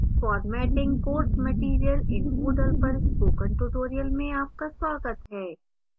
formatting course material in moodle पर spoken tutorial में आपका स्वागत है